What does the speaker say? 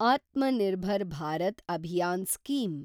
Atma Nirbhar Bharat Abhiyan scheme